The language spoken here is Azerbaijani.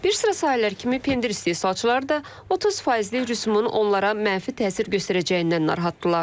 Bir sıra sahələr kimi pendir istehsalçıları da 30 faizli rüsumun onlara mənfi təsir göstərəcəyindən narahatdırlar.